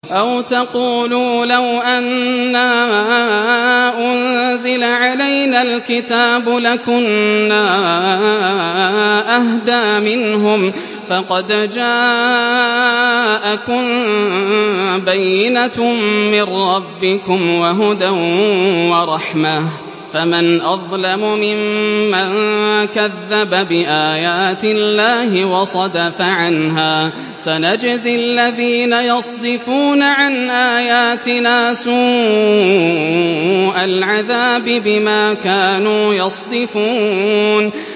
أَوْ تَقُولُوا لَوْ أَنَّا أُنزِلَ عَلَيْنَا الْكِتَابُ لَكُنَّا أَهْدَىٰ مِنْهُمْ ۚ فَقَدْ جَاءَكُم بَيِّنَةٌ مِّن رَّبِّكُمْ وَهُدًى وَرَحْمَةٌ ۚ فَمَنْ أَظْلَمُ مِمَّن كَذَّبَ بِآيَاتِ اللَّهِ وَصَدَفَ عَنْهَا ۗ سَنَجْزِي الَّذِينَ يَصْدِفُونَ عَنْ آيَاتِنَا سُوءَ الْعَذَابِ بِمَا كَانُوا يَصْدِفُونَ